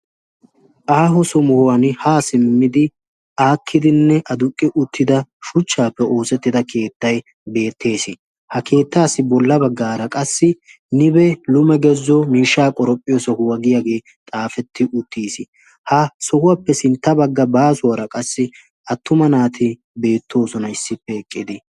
aaho somuhuwan haa simmidi aakkidinne aduqqi uttida shuchchaappe oosettida keettay beettees. ha keettaassi bolla baggaara qassi nibe lume gezzo miishshaa qoraphphiyo sohuwaa giyaagee xaafetti uttis. ha sohuwaappe sintta bagga baasuwaara qassi attuma naati beettoosona issippe eqqidi.